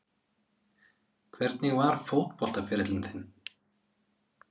Hvernig var fótboltaferillinn þinn?